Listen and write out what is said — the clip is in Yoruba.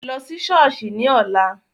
Lọ́ sí ṣọ́ọ̀ṣì ní ọ̀la.